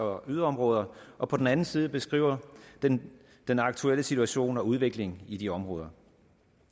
og yderområder og på den anden side beskriver den den aktuelle situation og udvikling i de områder